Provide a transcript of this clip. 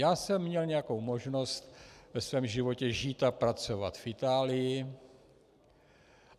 Já jsem měl nějakou možnost ve svém životě žít a pracovat v Itálii.